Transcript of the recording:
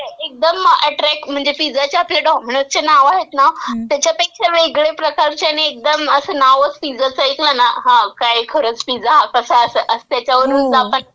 एकदम अॅट्रॅक्ट म्हणजे पिझ्झाचे आपले डॉमिनोजचे नावं आहेत ना, त्याच्यापेक्षा वेगळे प्रकारचे आणि एकदम असं नावच पिझ्झाचं ऐकलं ना, की हां काय खरंच हा पिझ्झा कसा असेल ..त्याच्यावरूनच आपण गेस करू शकतो.